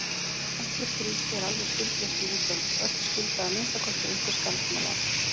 Ekkert ríki er alveg skuldlaust við útlönd, öll skulda að minnsta kosti einhver skammtímalán.